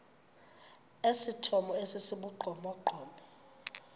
esithomo esi sibugqomogqomo